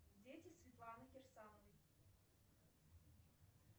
дети светланы кирсановой